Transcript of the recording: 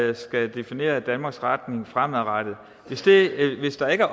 der skal definere danmarks retning fremadrettet hvis der ikke